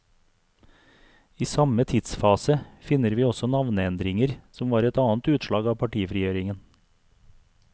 I samme tidsfase finner vi også navneendringer, som var et annet utslag av partifrigjøringen.